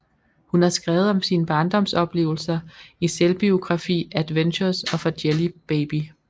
Hun har skrevet om sine barndomsoplevelser i selvbiografi Adventures of a Jelly Baby